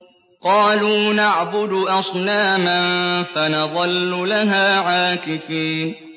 قَالُوا نَعْبُدُ أَصْنَامًا فَنَظَلُّ لَهَا عَاكِفِينَ